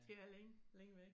Det er længe længe væk